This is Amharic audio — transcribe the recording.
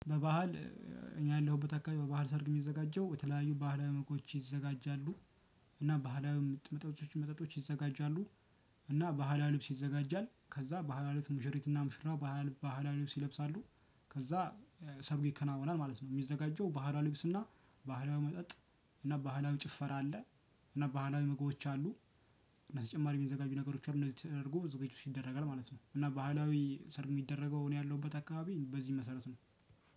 በባህል እኔ ያለሁበት አካባቢ በባህል ሰርግ የሚዘጋጀው በተለያዩ ባህላዊ ምግቦች ይዘጋጃሉ። እና ባህላዊ መጠጦች ይዘጋጃሉ። እና ባህላዊ ልብስ ይዘጋጃል። ከዛ ባህላዊ ልብስ ሙሽሪትና ሙሽራው ባህላ ባህላዊ ልብስ ይለብሳሉ። ከዛ ሰርጉ ይከናወናል ማለት ነው። የሚዘጋጀው ባህላዊ ልብስና ባህላዊ መጠጥ እና ባህላዊ ጭፈራ አለ። እና ባህላዊ ምግቦች አሉ። እና ተጨማሪ የሚዘጋጁ ነገሮች አሉ። እንደዚህ ተደርጎ ዝግጅቱ ይደረጋል ማለት ነው። እና ባህላዊ ሰርግ የሚደረገው እኔ ያለሁበት አካባቢ በዚህ መሰረት ነው።